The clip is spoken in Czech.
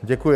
Děkuji.